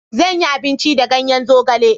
Zanyi abinci da ganyen zogale.